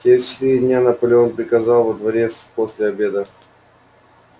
через четыре дня наполеон приказал во дворец после обеда